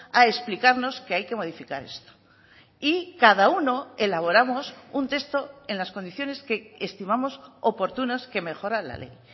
a explicarnos que hay que modificar esto y cada uno elaboramos un texto en las condiciones que estimamos oportunas que mejoran la ley